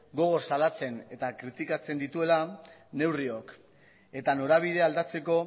gogor salatzen eta kritikatzen dituela neurriok eta norabidea aldatzeko